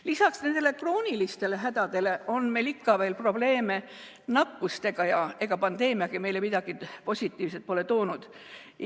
Lisaks nendele kroonilistele hädadele on meil ikka veel probleeme nakkustega ja ega pandeemiagi meile midagi positiivset pole toonud.